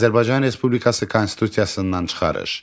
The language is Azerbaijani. Azərbaycan Respublikası konstitusiyasından çıxarış.